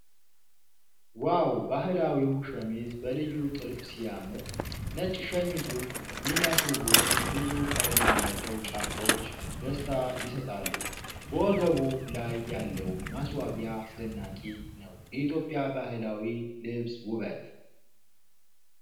ዋው ! ባህላዊው ሸሚዝ በልዩ ጥልፍ ሲያምር ! ነጭ ሸሚዙን የሚያስውቡት ብዙ ቀለም ያላቸው ጫፎች ደስታ ይሰጣሉ ። በወገቡ ላይ ያለው ማስዋቢያ አስደናቂ ነው ። የኢትዮጵያ ባህላዊ ልብስ ውበት!